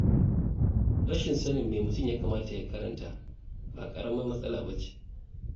Rashin sanin me mutum ya kamata ya karanta ba ƙaramar matsala ba ce.